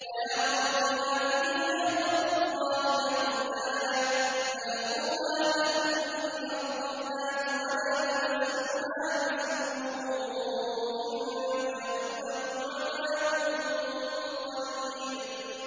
وَيَا قَوْمِ هَٰذِهِ نَاقَةُ اللَّهِ لَكُمْ آيَةً فَذَرُوهَا تَأْكُلْ فِي أَرْضِ اللَّهِ وَلَا تَمَسُّوهَا بِسُوءٍ فَيَأْخُذَكُمْ عَذَابٌ قَرِيبٌ